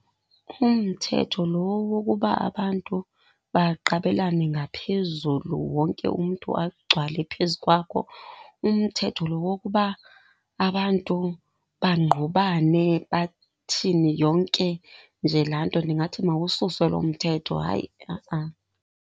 Umthetho lo wokuba abantu baqabelane ngaphezulu wonke umntu agcwale phezu kwakho, umthetho lo wokuba abantu bangqubane bathini, yonke nje laa nto. Ndingathi mawususwe loo mthetho hayi .